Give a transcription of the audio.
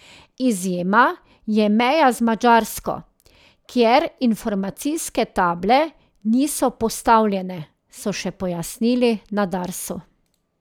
Izjema je meja z Madžarsko, kjer informacijske table niso postavljene, so še pojasnili na Darsu.